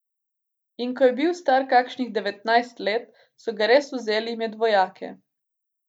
Slovenija je bila v preteklosti po njegovem mnenju prehitro zadovoljna z doseženimi cilji, nikoli pa nismo storili koraka naprej.